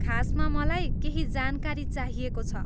खासमा मलाई केही जानकारी चाहिएको छ।